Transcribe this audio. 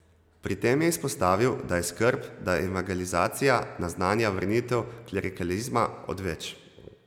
Pri tem je izpostavil, da je skrb, da evangelizacija naznanja vrnitev klerikalizma, odveč.